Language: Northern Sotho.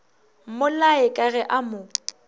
mmolaye ka ge a mo